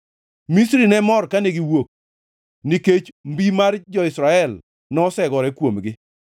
Misri ne mor kane giwuok, nikech mbi mar jo-Israel nosegore kuomgi.